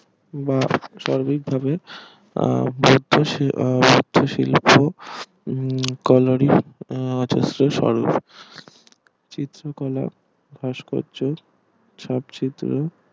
বা স্বাভাবিক ভাবে আহ শুধুমাত্র শিল্প কানাড়ি শিল্প কলা ভাস্কয্য